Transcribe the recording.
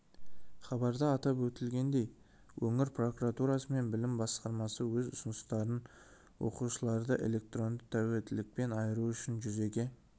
хабарда атап өтілгендей өңір прокуратурасы мен білім басқармасы өз ұсыныстарын оқушыларды электронды тәуелділіктен айыру үшін жүзеге